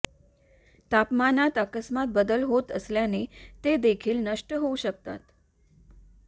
तापमानात अकस्मात बदल होत असल्यास ते देखील नष्ट होऊ शकतात